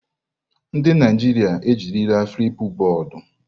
Ndị Naijiria ejirila Flipubọọdu.